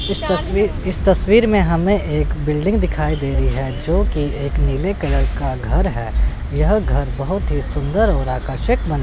इस तस्वी इस तस्वीर में हमें एक बिल्डिंग दिखाई दे रही है जोकि एक नीले कलर का घर है यह घर बहोत ही सुंदर और आकर्षक बन--